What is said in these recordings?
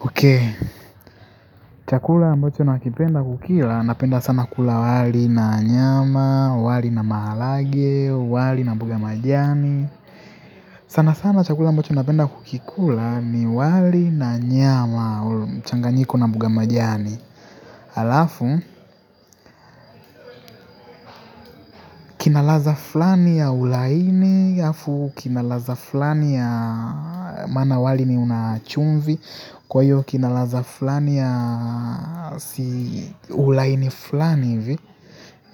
Okay, chakula ambacho nakipenda kukila, napenda sana kula wali na nyama, wali na mahalage, wali na mboga majani. Sana sana chakula ambacho napenda kukikula ni wali na nyama, mchanganyiko na mboga majani. Alafu kinalaza fulani ya ulaini afu kinalaza fulani ya maana wali ni una chumvi kwa hiyo kinalaza flani ya ulaini flani ivi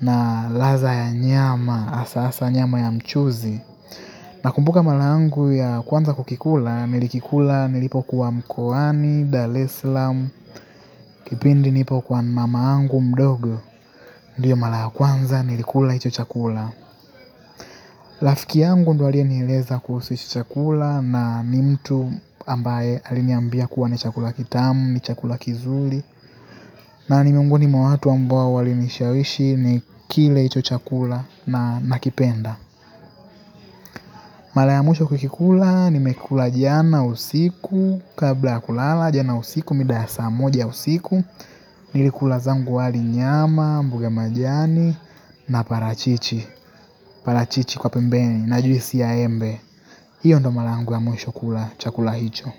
na laza ya nyama hasasa nyama ya mchuzi nakumbuka mara yangu ya kwanza kukikula nilikikula nilipokuwa mkoani, dal es lam, kipindi nipo kwa mamangu mdogo ndiyo mara ya kwanza nilikula hicho chakula rafiki yangu ndo aliyenieleza kuhisu hichi chakula na ni mtu ambaye aliniambia kuwa ni chakula kitamu ni chakula kizuri na ni mwongoni mwa watu ambao walinishawishi nikile hicho chakula na nakipenda mara ya mwisho kukikula, nimekula jana usiku, kabla ya kulala jana usiku, mida ya saa moja usiku, nilikula zangu wali nyama, mbuge majani, na parachichi, parachichi kwa pembeni, na juisi ya embe, hiyo ndo mara ya mwisho kula chakula hicho.